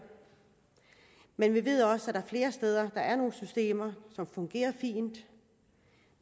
men vi ved også at der flere steder er nogle systemer som fungerer fint